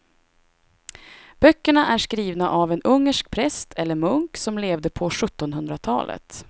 Böckerna är skrivna av en ungersk präst eller munk som levde på sjuttonhundratalet.